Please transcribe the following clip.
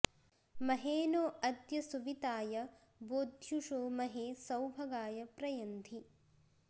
महे नो अद्य सुविताय बोध्युषो महे सौभगाय प्र यन्धि